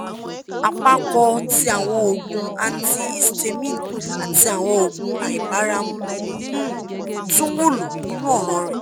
apapo ti awọn oogun antihistamine ati awọn oogun aibaramu um tun wulo ninu ọran rẹ